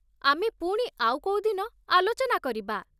ଆମେ ପୁଣି ଆଉ କୋଉ ଦିନ ଆଲୋଚନା କରିବା